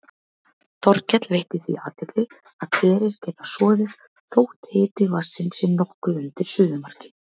Þorkell veitti því athygli að hverir geta soðið þótt hiti vatnsins sé nokkuð undir suðumarki.